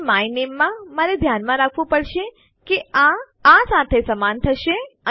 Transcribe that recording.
અને માય નામે માં મારે ધ્યાનમાં રાખવું પડશે કે આ આ સાથે સમાન થશે